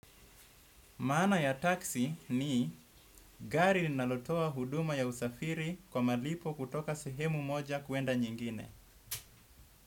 Maana ya taksi ni gari linalotoa huduma ya usafiri kwa malipo kutoka sehemu moja kwenda nyingine.